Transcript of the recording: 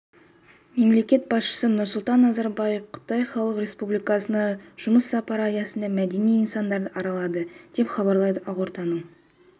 мемлекет басшысы нұрсұлтан назарбаев қытай халық республикасына жұмыс сапары аясында мәдени нысандарды аралады деп хабарлайды ақорданың